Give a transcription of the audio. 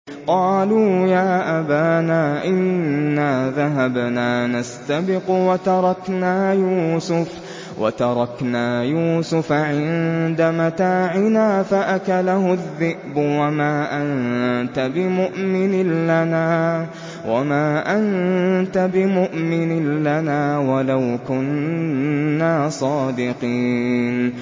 قَالُوا يَا أَبَانَا إِنَّا ذَهَبْنَا نَسْتَبِقُ وَتَرَكْنَا يُوسُفَ عِندَ مَتَاعِنَا فَأَكَلَهُ الذِّئْبُ ۖ وَمَا أَنتَ بِمُؤْمِنٍ لَّنَا وَلَوْ كُنَّا صَادِقِينَ